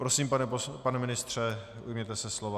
Prosím, pane ministře, ujměte se slova.